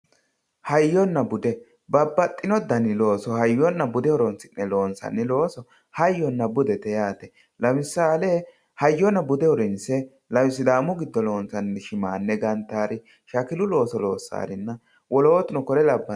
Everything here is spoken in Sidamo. Hayyonna bude, babbaxxino dani looso hayyonna bude horonsi'ne loonsanni loosso hayyonna budete yaate, lemisale hayyonna bude horonsi'ne sidaamu giddo loonse shimane gantanori shakilu loossarinna wolootuno kore labbanori.